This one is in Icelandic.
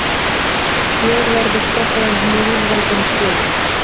Hér verður fjallað um hin lýðveldin fjögur.